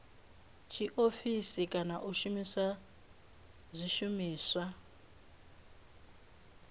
tshiofisi kana u shumisa zwishumiswa